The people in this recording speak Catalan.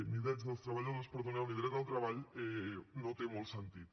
ni drets dels treballadors perdoneu ni dret al treball no té molt sentit